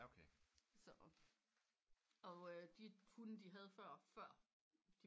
Så og øh de hunde de havde før før de